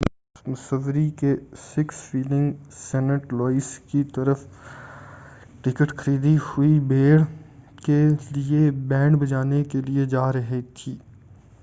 بس مسوری کے six flag saint Louis کی طرف ٹکٹ خریدی ہوئی بھیڑ کے لئے بینڈ بجانے کے لئے جارہی تھی